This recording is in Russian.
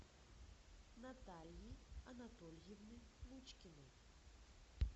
натальи анатольевны лучкиной